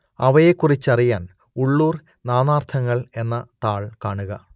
അവയെക്കുറിച്ചറിയാൻ ഉള്ളൂർ നാനാർത്ഥങ്ങൾ എന്ന താൾ കാണുക